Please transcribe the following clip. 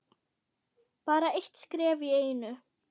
Bara eitt skref í einu.